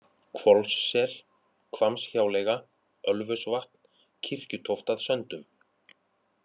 Hvolssel, Hvammshjáleiga, Ölfusvatn, Kirkjutóft að Söndum